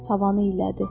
Havanı iylədi.